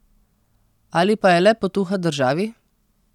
Ali pa je le potuha državi?